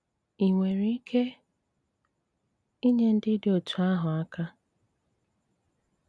Í nwéré íké ínyé ndí dị́ otú́ áhụ́ áká?